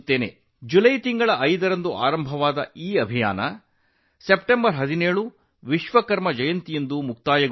July 5 ರಂದು ಪ್ರಾರಂಭವಾದ ಈ ಅಭಿಯಾನವು ವಿಶ್ವಕರ್ಮ ಜಯಂತಿಯ ದಿನವಾದ ಸೆಪ್ಟೆಂಬರ್ 17 ರಂದು ಮುಕ್ತಾಯಗೊಂಡಿತು